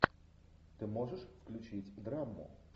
ты можешь включить драму